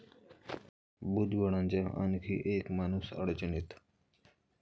भुजबळांचा आणखी एक 'माणूस'अडचणीत